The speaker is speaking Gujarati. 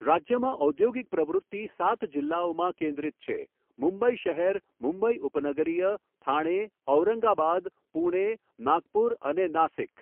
રાજ્યમાં ઔદ્યોગિક પ્રવૃત્તિ સાત જિલ્લાઓમાં કેન્દ્રિત છેઃ મુંબઈ શહેર, મુંબઈ ઉપનગરીય, થાણે, ઔરંગાબાદ, પૂણે, નાગપુર અને નાસિક.